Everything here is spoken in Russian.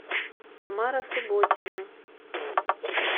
тамара субботина